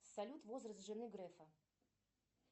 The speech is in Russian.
салют возраст жены грефа